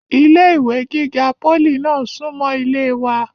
ilé ìwé gíga pólì náà súnmọ́ ilé wa